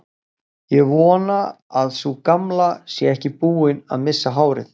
Ég vona að sú gamla sé ekki búin að missa hárið.